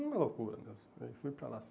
Uma loucura mesmo, aí fui para lá.